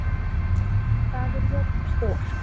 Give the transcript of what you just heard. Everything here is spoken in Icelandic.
Hallur, hvað er jörðin stór?